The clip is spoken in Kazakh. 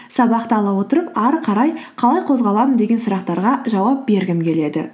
сабақты ала отырып ары қарай қалай қозғаламын деген сұрақтарға жауап бергім келеді